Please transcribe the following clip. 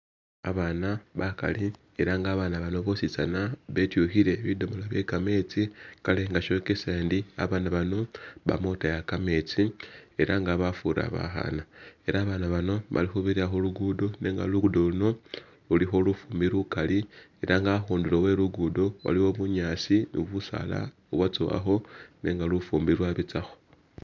Abaana bakali ela nga abaana bano bositsaana betyukhile bidomoola byekametsi kale nga shokesa ndi abaana bano bamakhutaya kametsi, ela nga bafura bakhaana, ela abaana bano bali khubirira khulugudo nenga lugudo luno lulikho lufumbi lukali, ela nga akhundulo we'lugudo waliwo bunyaasi ni busaala u'bwatsowakhowa nenga lufumbi lwabutsakho